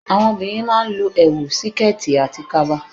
Àwọn obìnrin má a n lo èwù, síkẹ̀ẹ̀tì àti kaba